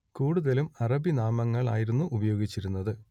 കൂടുതലും അറബി നാമങ്ങൾ ആയിരുന്നു ഉപയോഗിച്ചിരുന്നത്